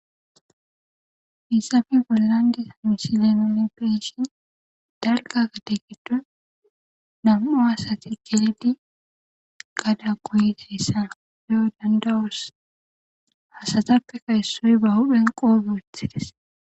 Hayssappe bollan diza misile nuun beyishin dalgga gadde giddon nam'u asati gelidi gadda goyidayssa beyo dandayos asatappeka issoy ba huphen qoope woththides